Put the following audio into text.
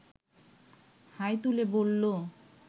high তুলে বলল